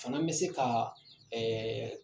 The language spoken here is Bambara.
Fana n bɛ se ka ɛɛ